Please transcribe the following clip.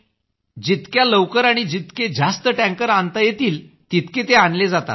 जितक्या लवकर आणि जितके जास्त टँकर्स आणता येतील तितके ते आणले जातात